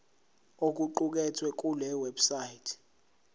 okuqukethwe kule website